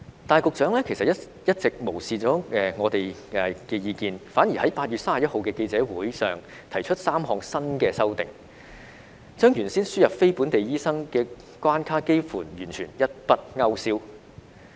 但是，局長一直無視我們的意見，反而在8月31日的記者會上提出3項新的修訂，將原先輸人非本地培訓醫生的關卡幾乎完全一筆勾消。